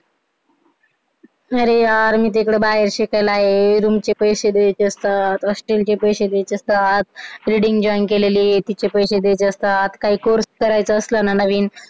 अरे यार मी तर इकडे बाहेर शिकायला आहे room चे पैशे द्यायचे असतात hostel चे पैशे द्यायचे असतात, reading join केलेली आहे तिचे पैशे द्यायचे असतात काही course करायचा असला ना नवीन